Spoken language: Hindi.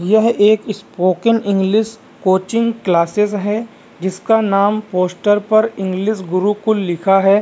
यह एक स्पोकन इंग्लिश कोचिंग क्लासेज है जिसका नाम पोस्टर पर इंग्लिश गुरुकुल लिखा है।